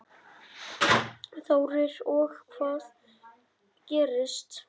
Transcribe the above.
Þórir: Og hvað gerist?